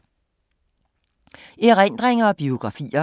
Erindringer og biografier